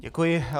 Děkuji.